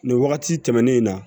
Nin wagati tɛmɛnen in na